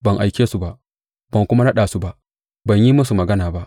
Ban aike su ba, ban kuma naɗa su ba, ban yi musu magana ba.